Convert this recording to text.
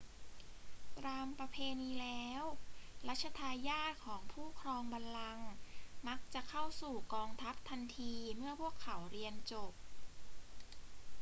ตามประเพณีแล้ว รัชทายาทของผู้ครองบัลลังก์มักจะเข้าสู่กองทัพทันทีเมื่อพวกเขาเรียนจบ